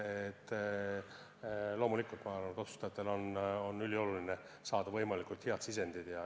Loomulikult ma arvan, et otsustajatel on ülioluline saada võimalikult head sisendid.